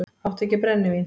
Áttu ekki brennivín?